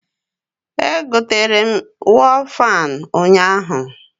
Egotere m ihe wọl fan ụnyaahụ